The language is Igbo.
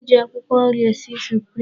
E ji akwụkwọ nri esi suprim.